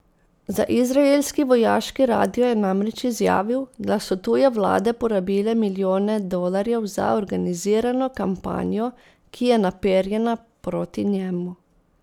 Za izraelski vojaški radio je namreč izjavil, da so tuje vlade porabile milijone dolarjev za organizirano kampanjo, ki je naperjena proti njemu.